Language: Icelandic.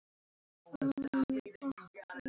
Elsku Sigga mín.